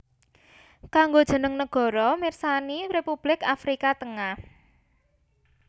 Kanggo jeneng nagara pirsani Republik Afrika Tengah